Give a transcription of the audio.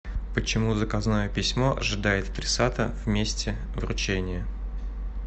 почему заказное письмо ожидает адресата в месте вручения